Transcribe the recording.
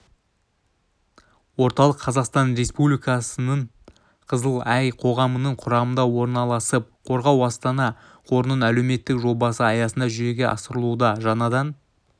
орталық қазақстан республикасының қызыл ай қоғамының құрамында орналасып қорғау-астана қорының әлеуметтік жобасы аясында жүзеге асырылуда жаңадан